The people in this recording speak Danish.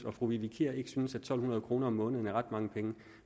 og fru vivi kier ikke synes at to hundrede kroner om måneden er ret mange penge